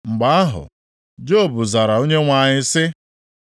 Mgbe ahụ, Job zara Onyenwe anyị sị: